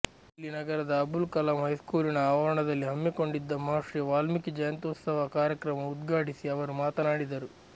ಇಲ್ಲಿ ನಗರದ ಅಬುಲ್ ಕಲಾಂ ಹೈಸ್ಕೂಲಿನ ಆವರಣದಲ್ಲಿ ಹಮ್ಮಿಕೊಂಡಿದ್ದ ಮಹರ್ಷಿ ವಾಲ್ಮೀಕಿ ಜಯಂತ್ಯುತ್ಸವ ಕಾರ್ಯಕ್ರಮ ಉದ್ಘಾ ಟಿಸಿ ಅವರು ಮಾತನಾಡಿದರು